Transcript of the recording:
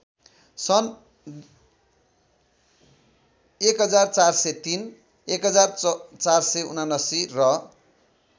सन् १४०३ १४७९ र